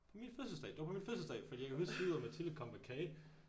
På min fødselsdag! Det var på min fødselsdag fordi jeg kan huske Liv og Mathilde kom med kage